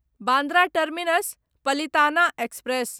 Bandra terminus Palitana express